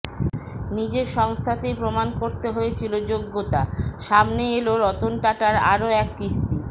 নিজের সংস্থাতেই প্রমাণ করতে হয়েছিল যোগ্যতা সামনে এল রতন টাটার আরও এক কিস্তি